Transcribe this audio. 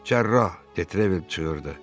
Cərrah, Detrevel çığırdı.